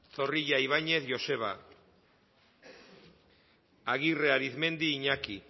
zorrilla ibañez joseba agirre arizmendi iñaki